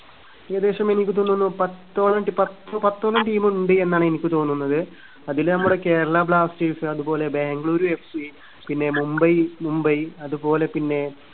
ഏകദേശം എനിക്ക് തോന്നുന്നു പത്തോളം പത്ത് പത്തോളം team ഉണ്ട് എന്നാണ് എനിക്ക് തോന്നുന്നത്. അതില് നമ്മുടെ കേരളാ ബ്ലാസ്റ്റേഴ്‌സ്, അതുപോലെ ബാംഗ്ലൂര് എഫ് സി, പിന്നെ മുംബൈ, മുംബൈ അതുപോലെ പിന്നെ